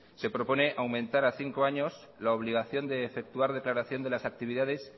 se propone aumentar a cinco años la obligación de efectuar declaración de las actividades